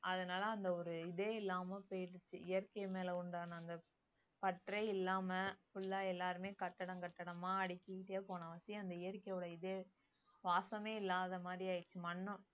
அதனால அந்த ஒரு இதே இல்லாம போயிடுச்சு இயற்கை மேல உண்டான அந்த பற்றே இல்லாம full ஆ எல்லாருமே கட்டடம் கட்டடமா அடுக்கிட்டே போன அந்த இயற்கையோட இது வாசமே இல்லாத மாதிரி ஆயிடுச்சு மண்ணும்